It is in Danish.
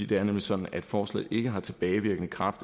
det er nemlig sådan at forslaget ikke har tilbagevirkende kraft